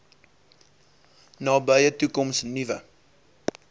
nabye toekoms nuwe